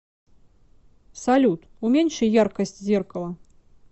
салют уменьши яркость зеркала